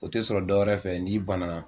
O tɛ sɔrɔ dɔwɛrɛ fɛ n'i ban na.